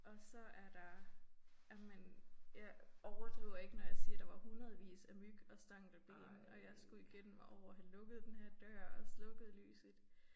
Og så er der jamen jeg overdriver ikke når jeg siger der var hundredevis af myg og stankelben og jeg skulle igennem og over og have lukket denne her dør og slukket lyset